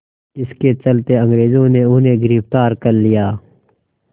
इसके चलते अंग्रेज़ों ने उन्हें गिरफ़्तार कर लिया